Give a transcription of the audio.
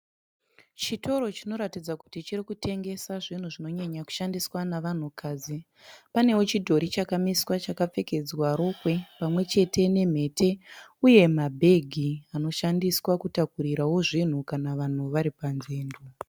Chitoro chinoratidza kuti chirikutengesa zvinhu zvinonyanyakushandiswa nevanhukadzi. Panewo chidhori chakamiswa chakapfekedzwa rokwe pamwechete nemhete , uye mabhegi anoshandiswa kutakurirawo zvinhu kana vanhu vari padzendo.